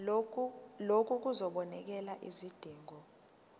lokhu kuzobonelela izidingo